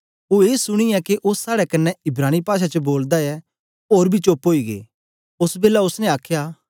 ओ ए सुनीयै के ओ साड़े कन्ने इब्रानी पाषा च बोलदा ऐ ओर बी चोप्प ओई गे ओस बेलै ओसने आखया